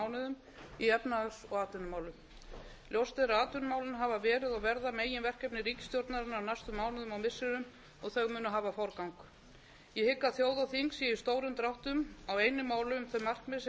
mánuðum í efnahags og atvinnumálum ljóst er að atvinnumálin hafa verið og verða meginverkefni ríkisstjórnarinnar á næstu mánuðum og missirum og þau munu hafa forgang ég hygg að þjóð og þing séu í stórum dráttum á einu máli um þau markmið sem setja verður í